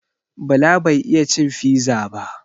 Bala bai iya cin fiza ba